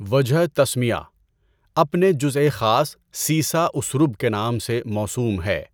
وجہ تسمیہ - اپنے جزءِ خاص سیسہ اُسْرُب کے نام سے موسوم ہے۔